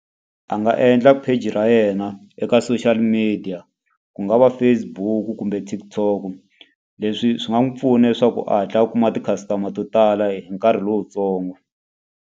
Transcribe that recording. A nga endla page ra yena eka social media, ku nga va Facebook-u kumbe TikTok-o. Leswi swi nga n'wi pfuna leswaku a hatla a kuma ti-customer to tala hi nkarhi lowutsongo.